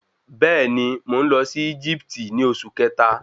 Bẹ́ẹ̀ni, mo nlọ sí Egipti ní oṣù kẹta